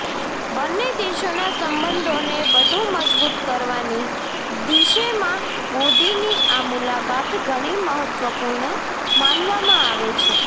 બન્ને દેશોના સંબંધોનો વધુ મજબૂત કરવાની દિશેમાં મોદીની આ મુલાકાત ઘણી મહત્વપૂર્ણ માનવામાં આવે છે